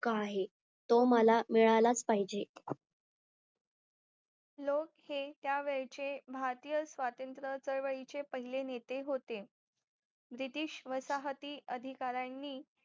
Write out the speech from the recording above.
हक्क आहे तो मला मिळालाच पाहिजे लोक हे त्या वेळचे भारतीय स्वातंत्र चळवळीचे पहिले नेते होते British वसाहती अधिकारीयांनी